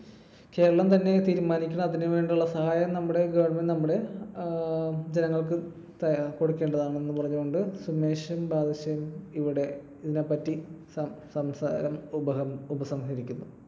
കേരളം തന്നെ തീരുമാനിക്കണം അതിനു വേണ്ടിയുള്ള സഹായം നമ്മുടെ government നമ്മുടെ അഹ് ജനങ്ങൾക്ക് കൊടുക്കേണ്ടതാണ് എന്ന് പറഞ്ഞുകൊണ്ട് സുമേഷും ബാദുഷയും ഇവിടെ ഇതിനെപ്പറ്റി സംസാരം ഉപ ~ ഉപസംഹരിക്കുന്നു.